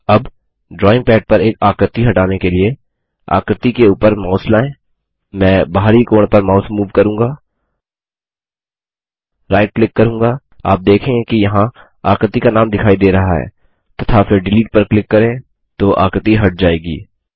अब drawing pad पर एक आकृति हटाने के लिए आकृति के ऊपर माउस लायें मैं बाहरी कोण पर माउस मूव करूँगा राइट क्लिक करूँगा आप देखेंगे कि यहाँ आकृति का नाम दिखाई दे रहा है तथा फिर डिलीट पर क्लिक करें तो आकृति हट जायेगी